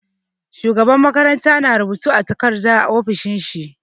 Shugaban makaranta na rubutu a takarda a ofishin shi.